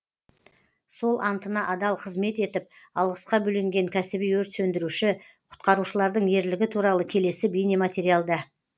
сол антына адал қызмет етіп алғысқа бөленген кәсіби өрт сөндіруші құтқарушылардың ерлігі туралы келесі бейнематериалда